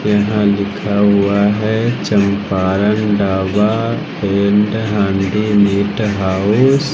यहां लिखा हुआ है Champaran dhaba and handi meat house --